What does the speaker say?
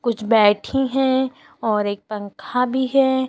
कुछ बैठी हैं और एक पंखा भी है।